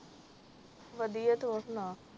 ਵਧੀਆ ਤੂੰ ਸਨ